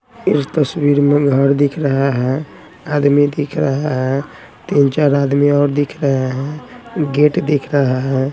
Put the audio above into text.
इस तस्वीर में घर दिख रहा हैं आदमी दिख रहा हैं तीन चार आदमी और दिख रहे हैं गेट दिख रहा हैं।